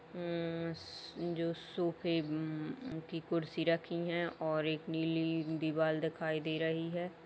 अं-स् जो सोफे उम-उम की कुर्सी रखी हैं और एक नीली दीवाल देखाई दे रही है।